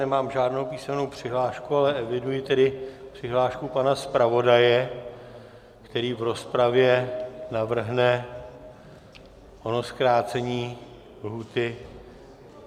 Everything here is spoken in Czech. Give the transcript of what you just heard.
Nemám žádnou písemnou přihlášku, ale eviduji tedy přihlášku pana zpravodaje, který v rozpravě navrhne ono zkrácení lhůty.